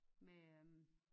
Med øh